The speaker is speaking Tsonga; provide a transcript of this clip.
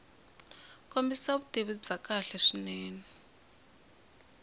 kombisa vutivi byo kahle swinene